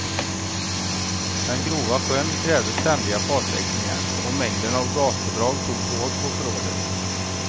Den grova sjön krävde ständiga fartväxlingar, och mängden av gaspådrag tog hårt på förrådet.